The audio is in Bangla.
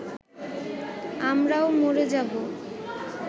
আমরাও মরে যাবো